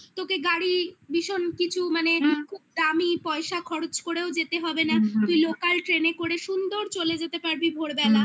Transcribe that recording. তোকে গাড়ি ভীষণ কিছু মানে খুব দামি পয়সা খরচ করেও যেতে হবে না হু হু তুই লোকাল ট্রেনে করে সুন্দর চলে যেতে পারবি ভোরবেলা